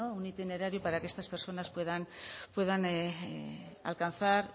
un itinerario para que estas personas puedan alcanzar